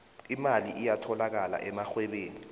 imali iyatholakala emarhwebeni